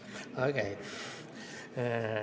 Okei.